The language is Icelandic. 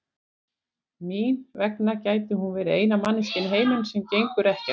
Mín vegna gæti hún verið eina manneskjan í heiminum sem gengur ekkert til.